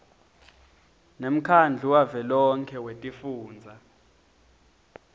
nemkhandlu wavelonkhe wetifundza